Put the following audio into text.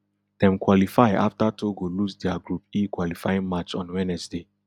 dem qualify afta togo lose dia group e qualifying match on wednesday